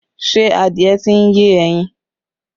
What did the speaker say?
Ṣé adìẹ tí ń yé ẹyin?